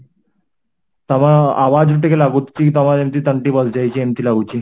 ତମ ରୁ ଟିକେ ଲାଗୁଚି ତମ ଯେମିତି ତଣ୍ଟି ବସିଯାଇଛି ଏମିତି ଲାଗୁଚି